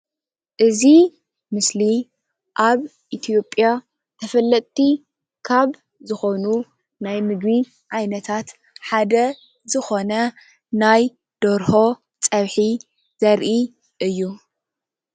እዚ ምስሊ አብ ኢትዮጲያ ተፈለጥቲ ካብ ዝኮኑ ናይ ምግቢ ዓይነታት ሓደ ዝኮነ ናይ ደርሆ ፀብሒ ዘርኢ እዩ፡፡